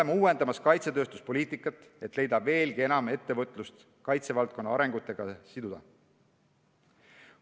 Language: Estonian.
Me uuendame oma kaitsetööstuspoliitikat, et leida võimalus veelgi enam ettevõtlust kaitsevaldkonna arengutega siduda.